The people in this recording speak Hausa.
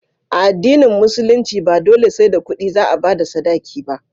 A addinin musulunci ba dole sai da kudi za a bada sadaki ba